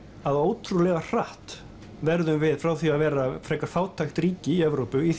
að ótrúlega hratt verðum við frá því að vera frekar fátækt ríki í Evrópu í